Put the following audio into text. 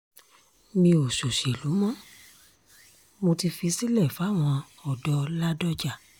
mi ò ṣọṣẹ́lù mo mo ti fi sílẹ̀ fáwọn ọ̀dọ́-ládọ́jà